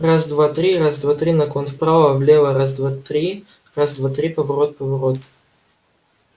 раз-два-три раз-два-три наклон вправо влево раз-два-три раз-два-три поворот-поворот